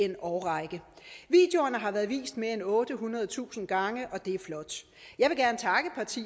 en årrække videoerne har været vist mere end ottehundredetusind gange og det er flot